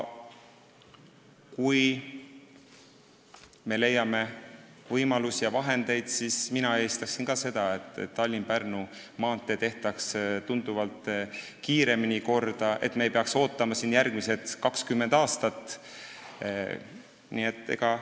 Kui me leiame võimalusi ja vahendeid, siis mina eelistaksin seda, et Tallinna–Pärnu maantee tehtaks korda tunduvalt kiiremini, et me ei peaks järgmised 20 aastat ootama.